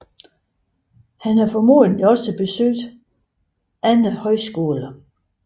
Formodentlig har han også besøgt andre højskoler